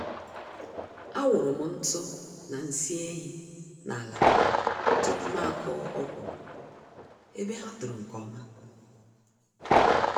Awụrụm ntụ na nsị ehi n'ala tupu mụ akụọ ọkwụrụ, ebe ha tòrò nke ọma